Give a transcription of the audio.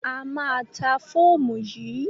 A máa ta fóòmù yìí.